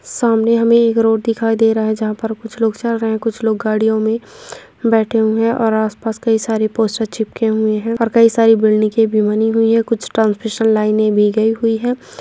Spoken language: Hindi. सामने हमें एक रोड दिखाई दे रहा है जहाँ पर कुछ लोग चल रहें हैं कुछ लोग गाड़ियोँ में बैठे हुए हैं और आस-पास कई सारे पोस्टर चिपके हुए हैं और कई सारी बिलिंगे भी बनी हुई हैं कुछ ट्रांसमिशन लाईने दी गई हुई हैं।